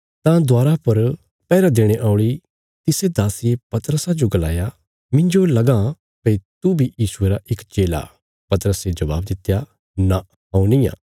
तां दवारा पर पैहरा देणे औल़ी तिसे दासिये पतरसा जो गलाया मिन्जो लगाँ भई तू बी यीशुये रा इक चेला पतरसे जबाब दित्या नां हऊँ निआं